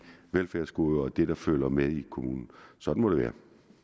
velfærdsgoder og til det der følger med i kommunen sådan må det